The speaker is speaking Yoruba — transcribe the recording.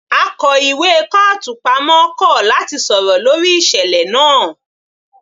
Akó ìwé kọ́ọ̀tù pamọ́ kọ̀ láti sọ̀rọ̀ lórí ìṣẹ̀lẹ̀ náà